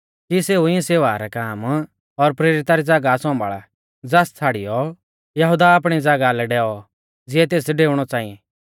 कि सेऊ इऐं सेवा रै काम और प्रेरिता री ज़ागाह सौंभाल़ा ज़ास छ़ाड़ियौ यहुदा आपणी ज़ागाह लै डैऔ ज़िऐ तेस डेउणौ च़ांई